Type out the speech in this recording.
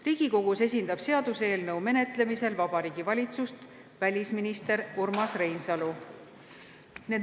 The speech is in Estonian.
Riigikogus esindab seaduseelnõu menetlemisel Vabariigi Valitsust välisminister Urmas Reinsalu.